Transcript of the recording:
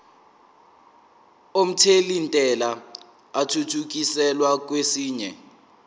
omthelintela athuthukiselwa kwesinye